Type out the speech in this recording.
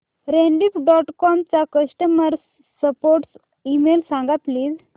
Rediff dot com चा customer support email सांग please